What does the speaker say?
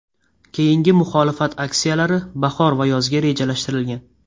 Keyingi muxolifat aksiyalari bahor va yozga rejalashtirilgan.